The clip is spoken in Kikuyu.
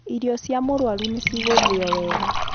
Irio cia mũrũaru nĩ cigũthio wega.